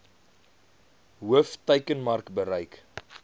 hoof teikenmark bereik